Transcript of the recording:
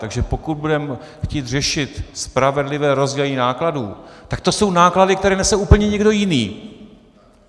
Takže pokud budeme chtít řešit spravedlivé rozdělení nákladů, tak to jsou náklady, které nese úplně někdo jiný.